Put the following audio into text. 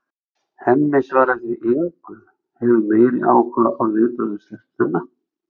Hemmi svarar því engu, hefur meiri áhuga á viðbrögðum stelpnanna.